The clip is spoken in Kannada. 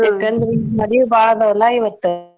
ಯಾಕಂದ್ರೆ ಮದ್ವಿ ಭಾಳ ಅದಾವಲ್ಲ ಇವತ್ತ್.